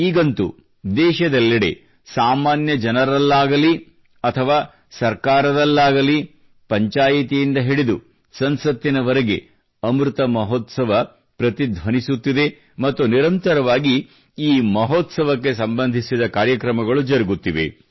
ಈಗಂತೂ ದೇಶದೆಲ್ಲೆಡೆ ಸಾಮಾನ್ಯ ಜನರಲ್ಲಾಗಲಿ ಅಥವಾ ಸರ್ಕಾರದಲ್ಲಾಗಲಿ ಪಂಚಾಯ್ತಿಯಿಂದ ಹಿಡಿದು ಸಂಸತ್ತಿನವರೆಗೆ ಅಮೃತ ಮಹೋತ್ಸವ ಪ್ರತಿಧ್ವನಿಸುತ್ತಿದೆ ಮತ್ತು ನಿರಂತರವಾಗಿ ಈ ಮಹೋತ್ಸವಕ್ಕೆ ಸಂಬಂಧಿಸಿದ ಕಾರ್ಯಕ್ರಮಗಳು ಜರುಗುತ್ತಿವೆ